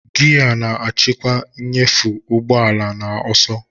Giya na-achịkwa nnyefe ụgbọ ala na ọsọ.